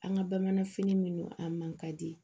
An ka bamananfini minnu a man ka di